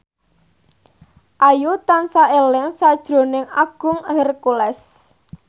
Ayu tansah eling sakjroning Agung Hercules